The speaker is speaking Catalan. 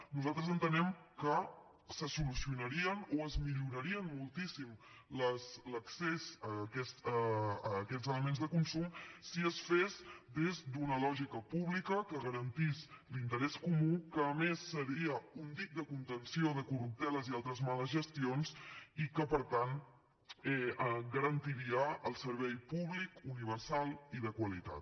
nosaltres entenem que se solucionaria o es milloraria moltíssim l’accés a aquests elements de consum si es fes des d’una lògica pública que garantís l’interès comú que a més seria un dic de contenció de corrupteles i altres males gestions i que per tant garantiria el servei públic universal i de qualitat